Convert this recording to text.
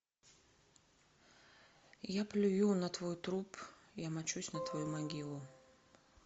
я плюю на твой труп я мочусь на твою могилу